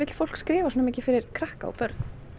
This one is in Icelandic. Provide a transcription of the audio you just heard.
fólk skrifa svona mikið fyrir krakka og börn